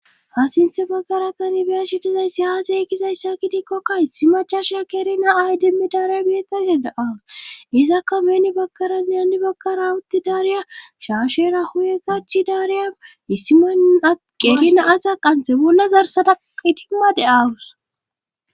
hasinthe baggara tani biya shidizaysi yaazeygizayssa gidikkokka issi machasha kerina aydemmi daariya bietashe da7a izakka meni baggarane anni baggara wutti daariya shaashera huye gachi daariya issima at qerina asa qanthe bolla zarsada qidimma de aarus